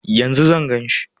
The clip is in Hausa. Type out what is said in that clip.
Yanzu zan gan shi?